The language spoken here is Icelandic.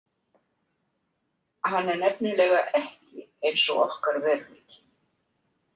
Hann er nefnilega ekki eins og okkar veruleiki.